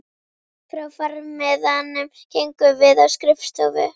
Frá farmiðanum gengum við á skrifstofu